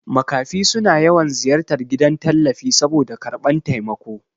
Makafi suna yawan ziyartar gidan tallafi saboda karɓan taimako